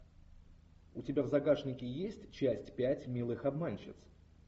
у тебя в загашнике есть часть пять милых обманщиц